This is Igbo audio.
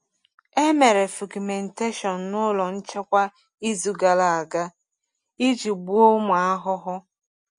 E mere fumigation n’ụlọ nchekwa izu gara aga iji gbuo ụmụ ahụhụ.